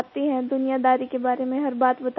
सिखाती हैं दुनियादारी के बारे में हर बात